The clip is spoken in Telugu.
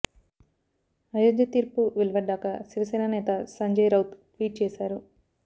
అయోధ్య తీర్పు వెలువడ్డాక శివసేన నేత సంజయ్ రౌత్ ట్వీట్ చేశారు